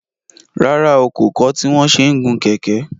Rárá o, kò kọ́ tí wọn ṣe ń gun kẹ̀kẹ́